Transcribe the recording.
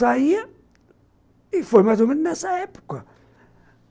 Saía e foi mais ou menos nessa época.